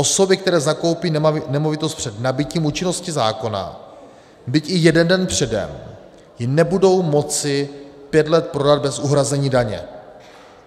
Osoby, které zakoupí nemovitost před nabytím účinnosti zákona, byť i jeden den předem, ji nebudou moci pět let prodat bez uhrazení daně.